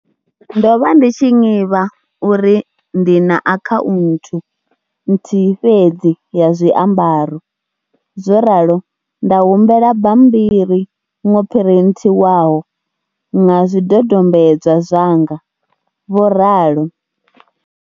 Ndo vha ndi tshi ṅivha uri ndi na akhaunthu nthihi fhedzi ya zwiambaro, zworalo nda humbela bammbiri ṅo phrinthiwaho ṅa zwidodombedzwa zwanga, vho ralo.